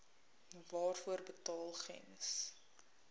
waarvoor betaal gems